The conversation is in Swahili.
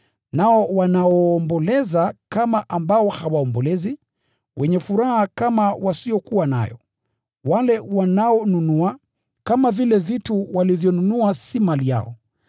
nao wanaoomboleza, kama ambao hawaombolezi; wenye furaha kama wasiokuwa nayo; wale wanaonunua, kama vile vitu walivyonunua si mali yao;